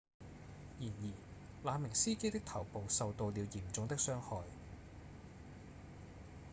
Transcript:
然而那名司機的頭部受到了嚴重的傷害